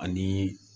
Ani